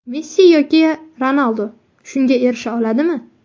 Messi yoki Ronaldu shunga erisha oladimi?